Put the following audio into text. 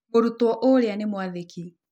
Mũrutwo ũrĩa nĩ mwathĩki.